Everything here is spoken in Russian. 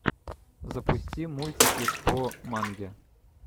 запусти мультики по манге